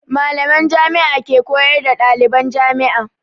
Mallaman Jami'a ke koyar da ɗaliban jami'a.